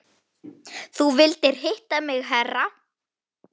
Þú vildir hitta mig herra?